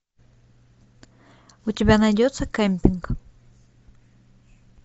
у тебя найдется кемпинг